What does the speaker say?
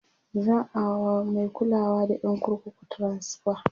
za'a wa Mai kulawa da ƴan kurkukun transfa